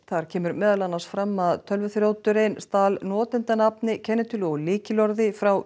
þar kemur meðal annars fram að tölvuþrjóturinn stal notendanafni kennitölu og lykilorði frá